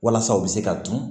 Walasa u bɛ se ka dun